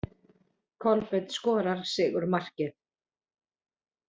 Kolbeinn skorar sigurmarkið.